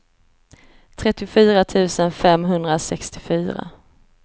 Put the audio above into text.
trettiofyra tusen femhundrasextiofyra